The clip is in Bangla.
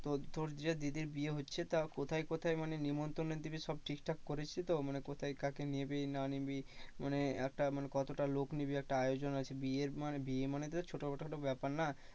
তো তোর যে দিদির বিয়ে হচ্ছে তা কোথায় কোথায় মানে নেমন্ত্রণ দিবি সব ঠিকঠাক করেছিস তো মানে কোথায় কাকে নিবি না নিবি মানে একটা মানে কতটা লোক নিবি একটা আয়োজন আছে বিয়ে মানে, বিয়ে মানে তো ছোটো খাটো একটা ব্যাপার না